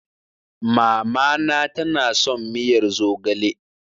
Mamana tana son miyar zogale.